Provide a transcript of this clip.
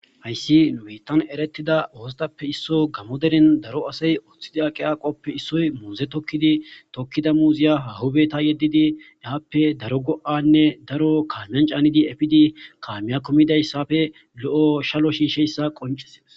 hayssi numeytan eretida ooztappe isso gammoderen daro asay oththidi aqi aaqoppe issoy mooze tokkidi tokkida muuziya hahubeta yeddidi eaappe daro go7anne daro kaamiyan caanidi efidi kaamiya kumidayssafe lo7o shalo shiisheyssa qoncises